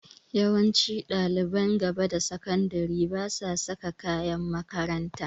Yawancin ɗaliban gaba da sakandire basa saka kayan makaranta.